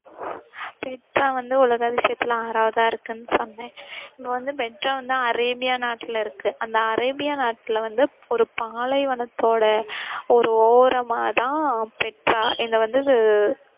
Petra வந்து உலக அதிசயத்துல ஆறவாதயிருக்குன்னு சொன்னேன். இப்போ வந்து பெட்ரா வந்து அரேபியா நாட்டிலயிருக்கு. அந்த அரேபியா நாட்டில வந்து ஒரு பாலைவனத்தோட ஒரு ஓரமா தான் பெட்ரா. இத வந்து